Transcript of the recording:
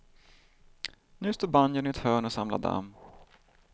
Nu står banjon i ett hörn och samlar damm.